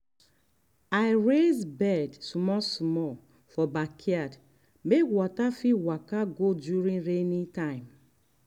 i raise bed small small um for backyard make water fit waka go during rainy time.